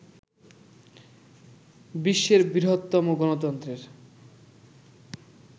বিশ্বের বৃহত্তম গণতন্ত্রের